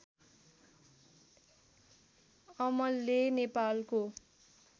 अमले नेपालको